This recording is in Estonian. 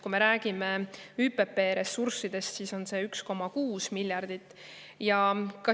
Kui me räägime ÜPP ressurssidest, siis see summa on 1,6 miljardit.